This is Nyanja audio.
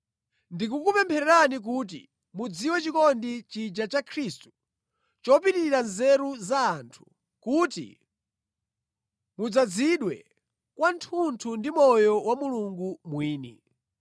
Ndikukupemphererani kuti mudziwe chikondi chija cha Khristu chopitirira nzeru za anthu, kuti mudzazidwe kwathunthu ndi moyo wa Mulungu mwini.